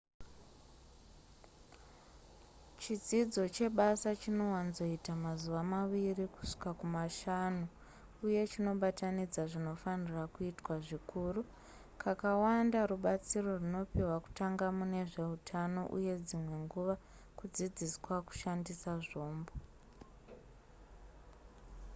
chidzidzo chebasa chinowanzoita mazuva maviri kusvika kumashanu uye chinobatanidza zvinofanirwa kuitwa zvikuru kakawanda rubatsiro runopiwa kutanga mune zveutano uye dzimwe nguva kudzidziswa kushandisa zvombo